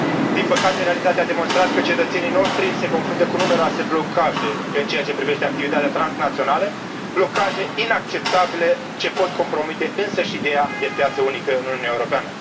Din păcate, realitatea a demonstrat că cetățenii noștri se confruntă cu numeroase blocaje în ceea ce privește activitatea transnațională, blocaje inacceptabile ce pot compromite însăși ideea de piață unică în Uniunea Europeană.